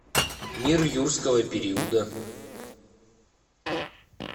мир юрского периода